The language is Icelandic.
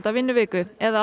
vinnuviku eða